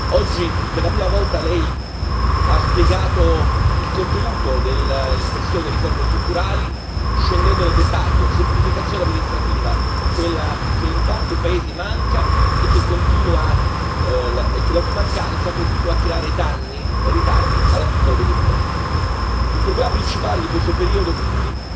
Oggi, per la prima volta, Lei ha spiegato il contenuto dell'espressione riforme strutturali scendendo nel dettaglio semplificazione amministrativa, quella che in tanti paesi manca e la cui mancanza continua a creare danni e ritardi alla piccola e media impesa. Il problema principale di questo periodo quindi,